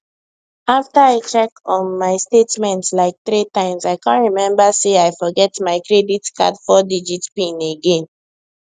after i check um my statement like three times i come remember say i forget my credit card fourdigit pin again